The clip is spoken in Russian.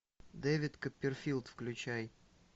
дэвид копперфильд включай